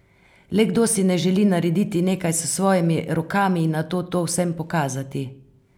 Le kdo si ne želi narediti nekaj s svojimi rokami in nato to vsem pokazati?